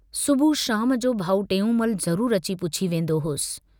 सुबुह शाम जो भाउ टेऊंमल ज़रूर अची पुछी वेन्दो हुअसि।